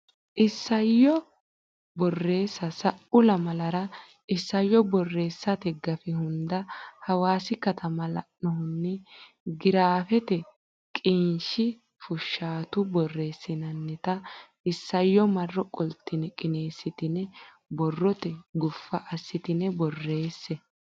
Isayyo Borreessa Sa u lamalara isayyo borreessate gafi hunda Hawaasi katama la annohunni giraafete qiniishshi fushshaatu borreessitinita isayyo marro qoltine qineessitine borrote guffa assitine borreesse.